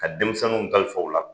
Ka denmisɛnninw kalifa u la.